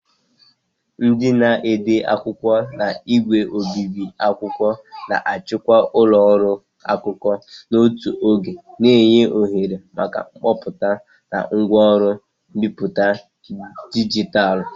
Ndị na-ede akwụkwọ na ígwè obibi akwụkwọ na-achịkwa ụlọ ọrụ akụkọ n'otu oge, na-enye ohere maka kọmputa na ngwaọrụ mbipụta dijitalụ.